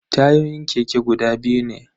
Tayoyin keke guda biyu ne.